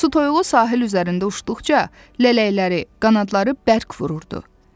Su toyuğu sahil üzərində uçduqca lələkləri, qanadları bərk vururdu.